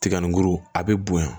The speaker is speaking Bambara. Tiga ni guru a bɛ bonya